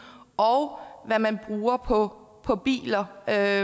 og hvad man bruger på på biler der er